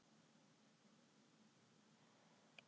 Sigurdór, hvernig er dagskráin í dag?